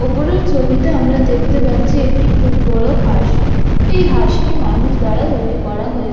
ওপরের ছবিতে আমরা দেখতে পাচ্ছি একটি খুব বড় হাঁস এই হাঁসটি মানুষ দ্বারা তৈরি করা হয়ে--